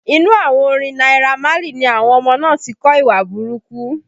Inú àwọn orin Naira Marley ni àwọn ọmọ náà ti kọ́ ìwà burúkú